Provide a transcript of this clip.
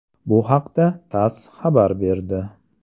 Bu haqda TASS xabar berdi .